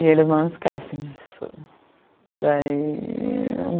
E eles não esquecem disso. Daí